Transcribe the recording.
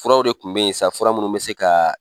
Furaw de tun bɛ yen sa fura minnu bɛ se ka